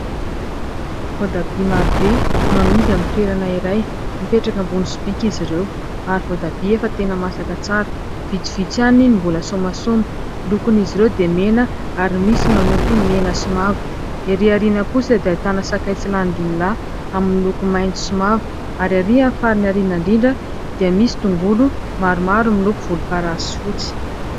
Voatabia marobe no amidy amin'ny toerana iray, mipetraka ambony sobika izy ireo ; ary voatabia efa tena masaka tsara, vitsivitsy ihany no mbola somasoma. Ny lokon'izy ireo dia mena, ary misy manopy mena sy mavo. Erỳ aoriana kosa dia ahitana sakay tsilanindimilahy, amin'ny loko maitso sy mavo. Ary arỳ amin'ny farany aoriana indrindra dia misy tongolo maromaro miloko volomparasy sy fotsy.